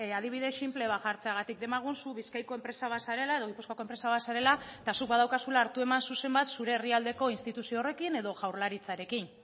adibide sinple bat jartzeagatik demagun zu bizkaiko zu enpresa bat zarela edo gipuzkoako enpresa bat zarela eta zuk badaukazula hartu eman zuzen bat zure herrialdeko instituzio horrekin edo jaurlaritzarekin